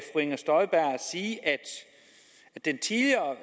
inger støjberg sige at den tidligere